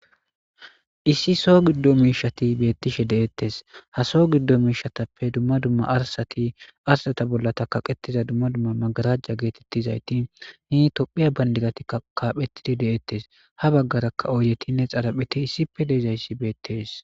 issi so giddo miishati beettishe de7ettes ha so giddo miishatappe dumma dumma arasati arsata bolla ta kaqetiza dumma dumma magarajja geetettizayti hi tophiya bandigati kaaphettidi de7ettes ha baggarakka ooyeti ne xarapheti issippe deezayssi beettes